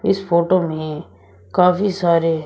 इस फोटो में काफी सारे--